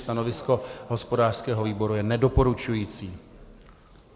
Stanovisko hospodářského výboru je nedoporučující.